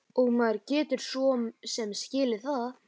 Og maður getur svo sem skilið það.